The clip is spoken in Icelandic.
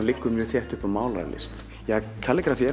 leggur mjög þétt upp við málaralist